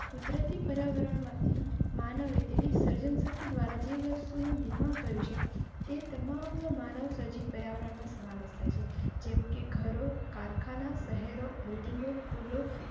કુદરતી પર્યાવરણમાંથી માનવે તેની સર્જનશક્તિ દ્વારા જે વસ્તુનું નિર્માણ કરેં તે તમામ નો માનવ સર્જિત પર્યાવરણ મા સમાવેશ થાય છે. જેમકે ઘરો, કારખાના, શહેરો, building ઓ પુલો.